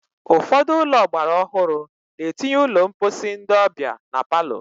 Ụfọdụ ụlọ ọgbara ọhụrụ na-etinye ụlọ mposi ndị ọbịa na palọ.